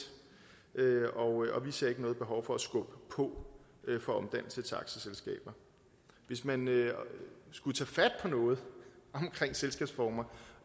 og vi ser ikke noget behov for at skubbe på for omdannelse til aktieselskaber hvis man skulle tage fat på noget omkring selskabsformer